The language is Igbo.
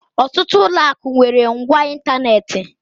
Ọtụtụ ụlọ akụ nwere ngwá ịntanetị.